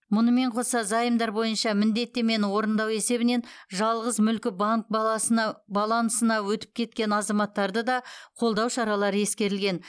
мұнымен қоса заемдар бойынша міндеттемені орындау есебінен жалғыз мүлкі банк баласына балансына өтіп кеткен азаматтарды да қолдау шаралары ескерілген